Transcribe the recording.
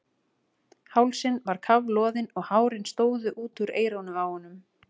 Hálsinn var kafloðinn og hárin stóðu út úr eyrunum á honum.